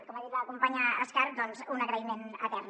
com ha dit la companya escarp doncs un agraïment etern